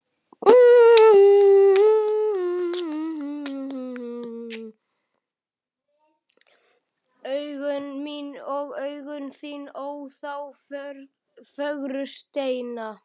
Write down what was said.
Augun mín og augun þín, ó, þá fögru steina.